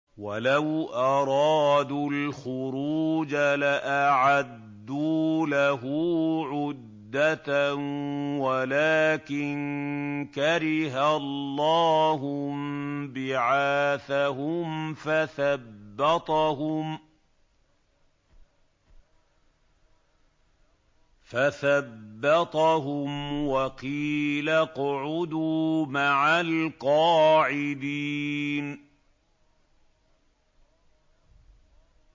۞ وَلَوْ أَرَادُوا الْخُرُوجَ لَأَعَدُّوا لَهُ عُدَّةً وَلَٰكِن كَرِهَ اللَّهُ انبِعَاثَهُمْ فَثَبَّطَهُمْ وَقِيلَ اقْعُدُوا مَعَ الْقَاعِدِينَ